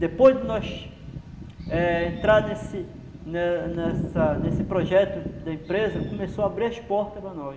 Depois de nós eh entrarmos nesse nessa nesse projeto da empresa, começou a abrir as portas para nós.